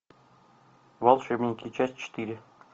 волшебники часть четыре